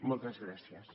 moltes gràcies